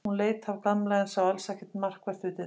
Hún leit af Gamla en sá alls ekkert markvert við dyrnar.